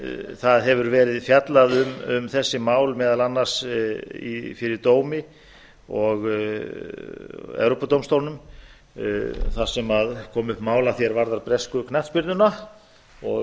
það hefur verið fjallað um þessi mál meðal annars fyrir evrópudómstólnum þar sem kom upp mál að því er varðar bresku knattspyrnuna og